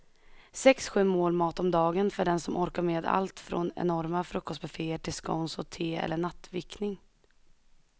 Sex, sju mål mat om dagen för den som orkar med allt från enorma frukostbufféer till scones och te eller nattvickning.